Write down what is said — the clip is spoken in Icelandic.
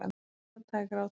Hann játaði grátandi.